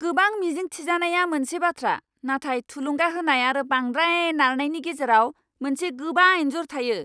गोबां मिजिं थिजानाया मोनसे बाथ्रा, नाथाय थुलुंगा होनाय आरो बांद्राय नारनायनि गेजेराव मोनसे गोबा इन्जुर थायो!